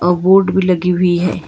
Board भी लगी हुई है।